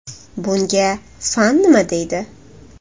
Bunga fan nima deydi?